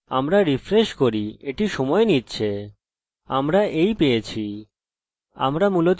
আমরা এই পেয়েছি আমরা মূলত কি করেছি যে ঐ এরর বার্তা ইকো করেছি যা php থেকে কোনভাবে পেয়েছি